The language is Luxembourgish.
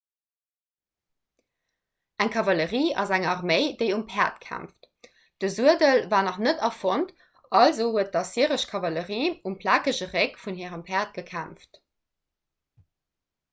eng kavallerie ass eng arméi déi um päerd kämpft de suedel war nach net erfonnt also huet d'assyresch kavallerie um plakege réck vun hire päerd gekämpft